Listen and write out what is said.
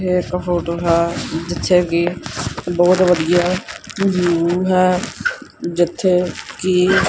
ਏਹ ਇੱਕ ਫੋਟੋ ਹੈ ਜਿੱਥੇ ਕੀ ਬੋਹੁਤ ਵਧੀਆ ਵਿਊ ਹੈ ਜਿੱਥੇ ਕੀ--